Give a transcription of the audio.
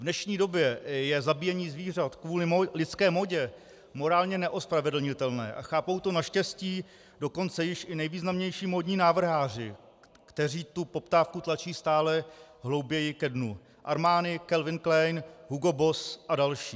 V dnešní době je zabíjení zvířat kvůli lidské módě morálně neospravedlnitelné a chápou to naštěstí dokonce již i nejvýznamnější módní návrháři, kteří tu poptávku tlačí stále hlouběji ke dnu: Armani, Calvin Klein, Hugo Boss a další.